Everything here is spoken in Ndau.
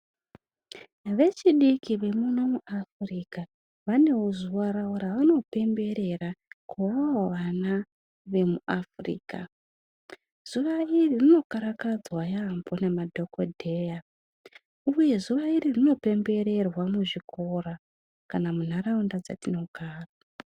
Vechidiki varimuno muAfrica vanewo zuva ravo ravano pemberera kuvawo vana vemuAfrica. Zuva iri rinokarakadzwa yaambo nemadhokodheya uye zuva iri rinopembererwa muzvikora kana muntaraunda dzatinogara.